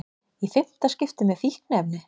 Í fimmta skipti með fíkniefni